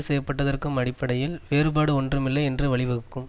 செய்யப்பட்டதற்கும் அடிப்படையில் வேறுபாடு ஒன்றுமில்லை என்றும் வழிவகுக்கும்